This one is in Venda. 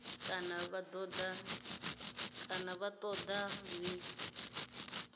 kana vha ṱoḓa ḽi tshi